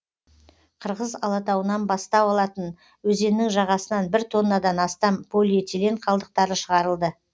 қырғыз алатауынан бастау алатын өзеннің жағасынан бір тоннадан астам полиэтилен қалдықтары шығарылды